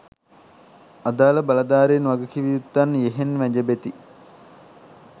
අදාල බලධාරීන් වගකිවයුත්තන් යෙහෙන් වැජබෙති